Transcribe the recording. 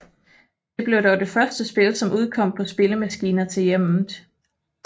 Det blev dog det første spil som udkom på spillemaskiner til hjemmet